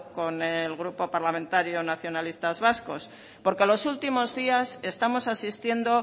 con el grupo parlamentario nacionalistas vascos porque los últimos días estamos asistiendo